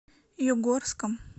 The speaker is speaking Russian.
югорском